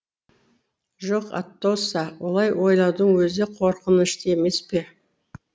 жоқ атосса олай ойлаудың өзі қорқынышты емес пе